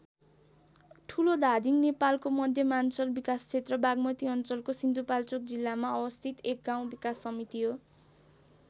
ठुलोधादिङ नेपालको मध्यमाञ्चल विकासक्षेत्र बाग्मती अञ्चलको सिन्धुपाल्चोक जिल्लामा अवस्थित एक गाउँ विकास समिति हो।